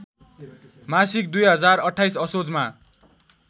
मासिक २०२८ असोजमा